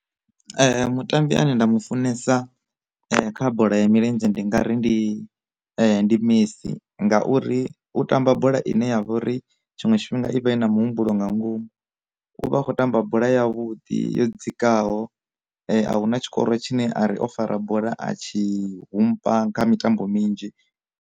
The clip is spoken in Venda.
Mutambi ane nda mu funesa kha bola ya milenzhe ndi nga ri ndi ndi messi, ngauri u tamba bola ine ya vha uri tshiṅwe tshifhinga ivhe na na muhumbulo nga ngomu, u vha a khou tamba bola yavhuḓi yo dzikaho a huna tshikoro tshine a ri o fara bola a tshi humpa kha mitambo minzhi.